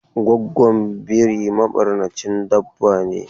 Goggon biri mabarnacin dabba ne.